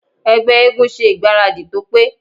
Ẹgbẹ́ eégún ṣe ìgbáradì tó pé.